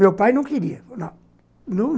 Meu pai não queria.